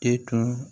E tun